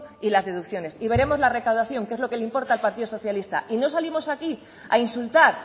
y las deducciones y veremos la recaudación que es lo que le importa al partido socialista y no salimos aquí a insultar